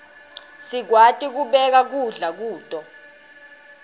sikwati kubeka kudla kuto